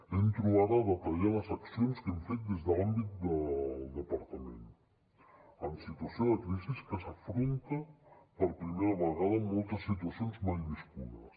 entro ara a detallar les accions que hem fet des de l’àmbit del departament en situació de crisi que s’afronta per primera vegada en moltes situacions mai viscudes